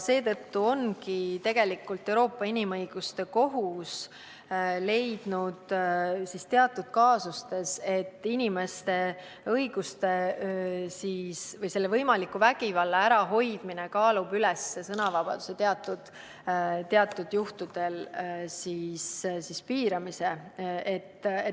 Tegelikult ongi Euroopa Inimõiguste Kohus teatud kaasustes leidnud, et võimaliku vägivalla ärahoidmine kaalub teatud juhtudel üles sõnavabaduse piiramise.